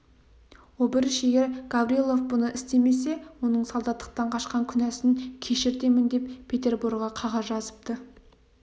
обыріш егер гаврилов бұны істесе оның солдаттықтан қашқан күнәсін кешіртемін деп петерборға қағаз жазыпты